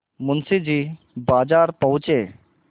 मुंशी जी बाजार पहुँचे